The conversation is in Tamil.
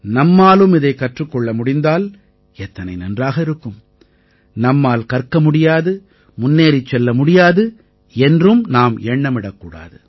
நம்மாலும் இதைக் கற்றுக் கொள்ள முடிந்தால் எத்தனை நன்றாக இருக்கும் நம்மால் கற்க முடியாது முன்னேறிச் செல்ல முடியாது என்றும் நாம் எண்ணமிடக்கூடாது